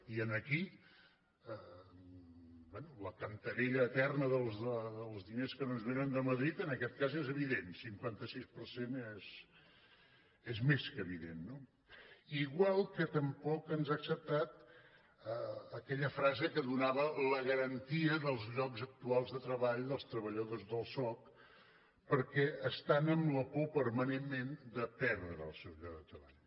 i aquí bé la canterella eterna dels diners que no ens vénen de ma·drid en aquest cas és evident cinquanta sis per cent és més que evident no igual que tampoc ens ha acceptat aque·lla frase que donava la garantia dels llocs actuals de treball dels treballadors del soc perquè estan amb la por permanentment de perdre el seu lloc de treball